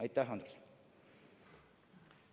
Aitäh, Andres!